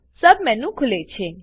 submenu ખુલે છે